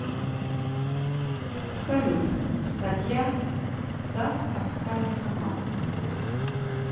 салют сатья дас официальный канал